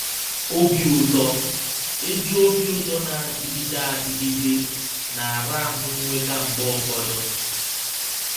OBI ỤTỌ — ezi obi ụtọ na - adịgide adịgide — na - ara ahụ́ nnweta mgbe ụfọdụ.